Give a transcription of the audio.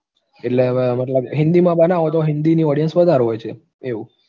એટલે હવે મતલબ હિન્દીમાં બનાવો તો હિન્દીની audience વધારે હોય છે એવું